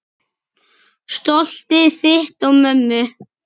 Stoltið þitt og mömmu.